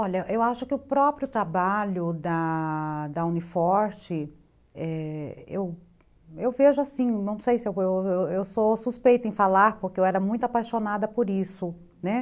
Olha, eu acho que o próprio trabalho da Uni Forte, eu vejo assim, não sei se eu eu sou suspeita em falar, porque eu era muito apaixonada por isso, né?